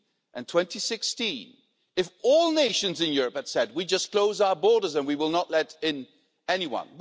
and 2016 if all nations in Europe had said we just close our borders and we will not let in anyone.